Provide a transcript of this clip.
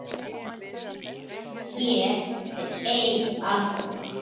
Hér er ein: aðkoma